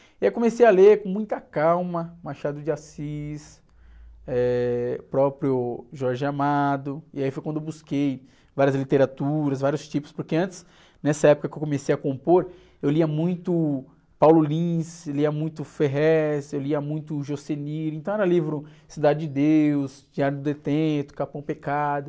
E aí eu comecei a ler com muita calma, Machado de Assis, eh, o próprio Jorge Amado, e aí foi quando eu busquei várias literaturas, vários tipos, porque antes, nessa época que eu comecei a compor, eu lia muito Paulo Lins, eu lia muito Ferréz, eu lia muito Jocenir, então era livro, Cidade de Deus, Diário de um Detento, Capão Pecado...